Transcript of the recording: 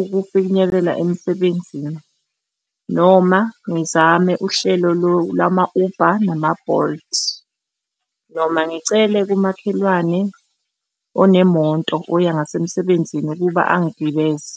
ukufinyelela emsebenzini noma ngizame uhlelo lwama-Uber nama-Bolt, noma ngicele kumakhelwane onemoto oya ngasemsebenzini ukuba angigibeze.